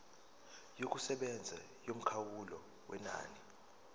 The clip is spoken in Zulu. yokusebenza yomkhawulo wenani